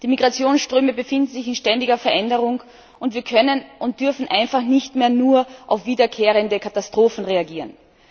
Die Migrationsströme befinden sich in ständiger Veränderung, und wir können und dürfen einfach nicht mehr nur auf wiederkehrende Katastrophen reagieren.